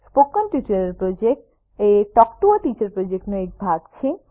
spoken tutorial project એ talk to a teacher પ્રોજેક્ટનો એક ભાગ છે